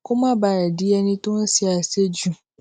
kó má bàa di ẹni tó ń se àṣejù